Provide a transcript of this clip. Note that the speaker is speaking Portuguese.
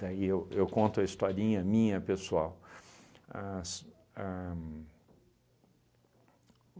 Daí eu eu conto a historinha minha, pessoal. As a